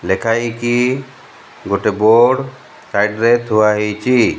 ଲେଖା ହେଇକି ଗୋଟେ board side side ଥୁଆ ହୋଇଛି।